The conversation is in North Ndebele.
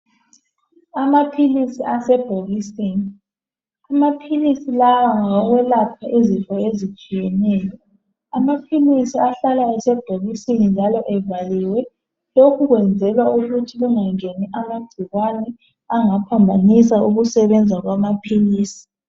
Amaphilisi asebhokisini amaphilisi lawa ngawo kwelapha izifo ezitshiyeneyo amaphilisi ahlala esebhokisini njalo evaliwe lokhu kwenzelwa ukuthi kungangeni amagcikwane angaphambanisa ukusebenza kwamaphilisi.